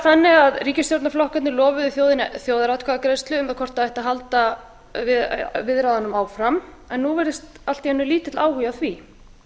leyst frá störfum ríkisstjórnarflokkarnir lofuðu þjóðinni þjóðaratkvæðagreiðslu um það hvort halda ætti viðræðum áfram nú virðist allt í einu lítill áhugi á því